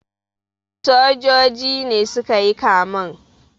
Sojoji ne su ka yi kamen.